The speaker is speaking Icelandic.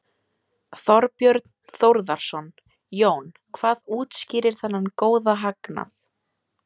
Þorbjörn Þórðarson: Jón, hvað útskýrir þennan góða hagnað?